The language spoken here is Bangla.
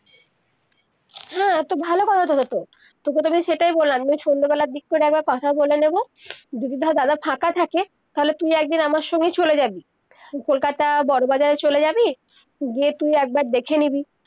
হ্যাঁ তো ভালো কথা তবে তো তকে তো আমি সেইটাই বললাম যে সন্ধ্যা বেলা দিগ করে একবার কথা বলে নেবো যদি হয় দাদা ফাঁকা থাকে তাহলে তুই একদিন আমার সঙ্গেই চলে যাবি কলকাতা বড় বাজার চলে যাবি গিয়ে তুই একবার দেখে নিবি